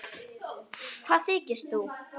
Hvað þykist þú.